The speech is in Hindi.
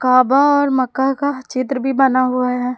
और मक्का का चित्र भी बना हुआ है।